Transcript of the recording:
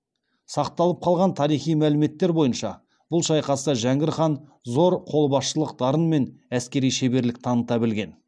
сақталып қалған тарихи мәліметтер бойынша бұл шайқаста жәңгір хан зор қолбасшылық дарын мен әскери шеберлік таныта білген